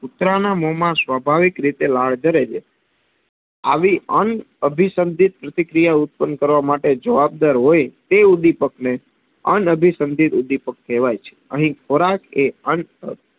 કુતરાના મોંમાં સ્વાભાવિક રીતે લાડ જરે છે. આવી અનઅભિસંધીત પ્રતિક્રિયા ઉત્પન કરવા માટે જવાબદાર હોય તે ઉદીપકને અનઅભિસંધીત ઉદીપક કહેવાય છે. અહી ખોરાકએ અન,